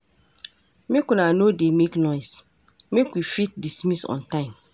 Maka una no dey make noise, make we fit dismiss on time.